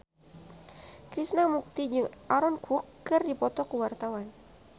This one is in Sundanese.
Krishna Mukti jeung Aaron Kwok keur dipoto ku wartawan